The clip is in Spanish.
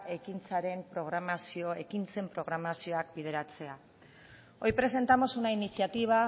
ekintzaren programazio ekintzen programazioak bideratzea hoy presentamos una iniciativa